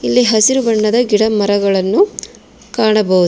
ಇಲ್ಲಿ ಹಸಿರು ಬಣ್ಣದ ಗಿಡ ಮರಗಳನ್ನು ಕಾಣಬಹುದು.